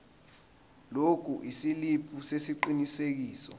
lokhu isiliphi sesiqinisekiso